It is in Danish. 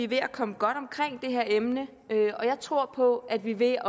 ved at komme godt omkring det her emne jeg tror på at vi ved